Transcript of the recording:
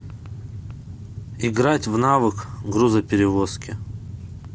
играть в навык грузоперевозки